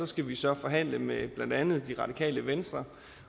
skal vi så forhandle med blandt andet det radikale venstre